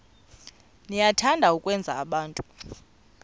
niyathanda ukwenza abantu